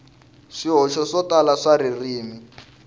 swihoxo swo tala swa ririmi